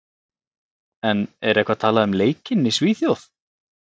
En er eitthvað talað um leikinn í Svíþjóð?